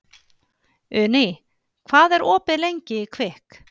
Uni, hvað er opið lengi í Kvikk?